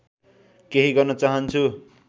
केही गर्न चाहन्छु